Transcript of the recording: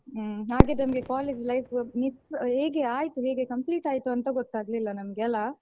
ಹ್ಮ್ ಹಾಗಿದ್ದೊಂದು college life miss ಹೇಗೆ ಆಯ್ತು ಹೇಗೆ complete ಆಯ್ತು ಅಂತ ಗೊತ್ತಾಗ್ಲಿಲ್ಲ ನಮ್ಗೆ ಅಲಾ.